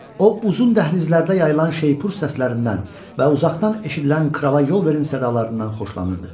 O uzun dəhlizlərdə yayılan şeypur səslərindən və uzaqdan eşidilən krala yol verin sədalarlarından xoşlanırdı.